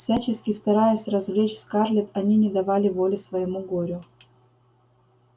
всячески стараясь развлечь скарлетт они не давали воли своему горю